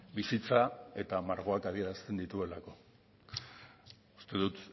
bizitza eta margoak adierazten dituelako uste dut